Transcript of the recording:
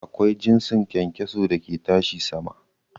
Akwai jinsin kyankyaso da ke tashi sama.